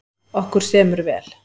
Okkur semur vel